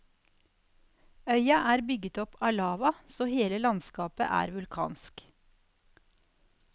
Øya er bygget opp av lava, så hele landskapet er vulkansk.